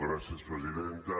gràcies presidenta